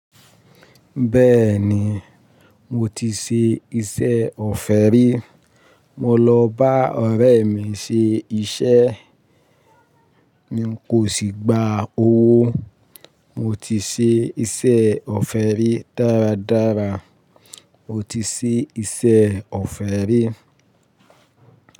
Bẹ́ẹ̀ni, mo ti ṣe iṣẹ́ ọ̀fẹ́ rí. Mo lọ bá ọ̀rẹ́ mi ṣe iṣẹ́, n kò sì gba owó. Mo ti ṣe iṣẹ́ ọ̀fẹ́ rí dáradára. Mo ti ṣe iṣẹ́ ọ̀fẹ́ rí.